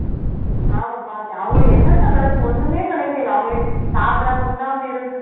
ஆமாம் பார்த்தேன் அவங்களுக்கு என்னத்த கிடைச்சுது ஒண்ணுமே கிடைக்கலை அவங்க சாப்பிடாம உண்ணாம இருந்து